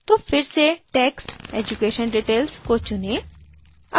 तो फिर से text education detailsको चुनें